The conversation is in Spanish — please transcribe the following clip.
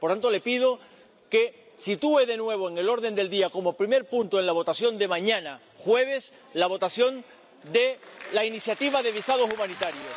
Por tanto, le pido que sitúe de nuevo en el orden del día como primer punto en la votación de mañana, jueves, la votación de la iniciativa de visados humanitarios.